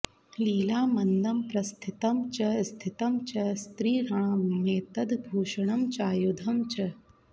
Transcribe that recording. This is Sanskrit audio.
लीलामन्दं प्रस्थितं च स्थितं च स्त्रीणामेतद् भूषणं चायुधं च